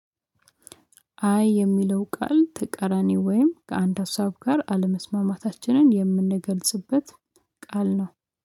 አይ የሚለው ቃል ተቀራኒ ወይም ከአንድ ሀሳብ ጋር አለመስማማታችንን የምንገልጽበት ቃል ነው